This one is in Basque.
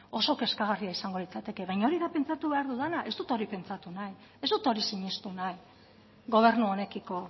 oso kezkagarria izango litzateke baina hori da pentsatu behar dudana ez dut hori pentsatu nahi ez dut hori sinistu nahi gobernu honekiko